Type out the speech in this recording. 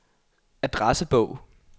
adressebog